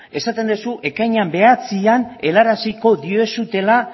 esaten duzu ekainaren bederatzian helaraziko diozula